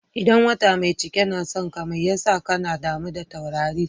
Idan wata mai cike na son ka, mai ya sa ka na damu da taurari?